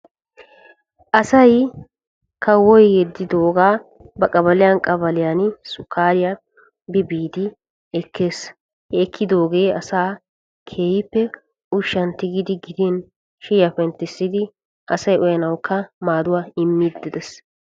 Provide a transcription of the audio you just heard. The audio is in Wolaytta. ASay kawoy yeddido sukariya ba qabaliya biiddi ekees. ha sukare darobbawu asaa maadees. Lm ushsha aganawunne shayiya penttisanawu.